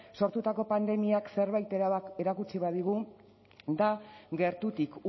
sortutako pandemiak zerbait erakutsi badigu da gertutik